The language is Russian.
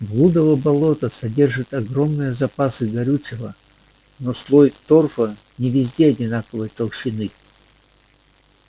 блудово болото содержит огромные запасы горючего но слой торфа не везде одинаковой толщины